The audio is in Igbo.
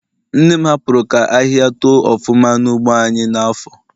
Nne m hapuru ka ahihia too ofuma na ugbo anyi n'afo